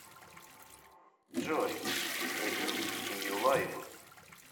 джой эдирс нью лайв